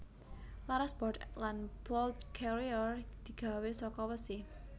Laras bolt lan bolt carriere digawe saka wesi